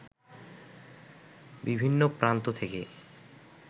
বিভিন্ন প্রান্ত থেকে